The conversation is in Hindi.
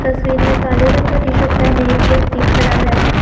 तस्वीर में काले रंग का टी शर्ट पहने एक व्यक्ति खड़ा है।